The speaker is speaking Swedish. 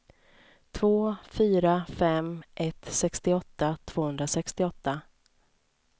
två fyra fem ett sextioåtta tvåhundrasextioåtta